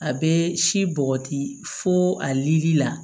A bɛ si bɔgɔti fo ali la